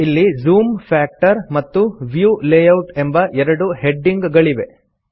ಇಲ್ಲಿ zoom factor ಮತ್ತು view layout ಎಂಬ ಎರಡು ಹೆಡಿಂಗ್ ಗಳಿವೆ